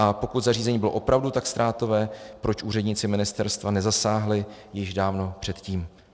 A pokud zařízení bylo opravdu tak ztrátové, proč úředníci ministerstva nezasáhli již dávno předtím?